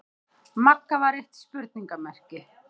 Magga var eitt spurningarmerki.